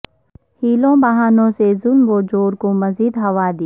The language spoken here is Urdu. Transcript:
حیلوں بہانوں سے ظلم و جور کو مزید ہوا دی